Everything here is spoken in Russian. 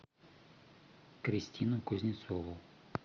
кристину кузнецову